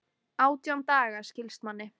Átján daga, skilst manni.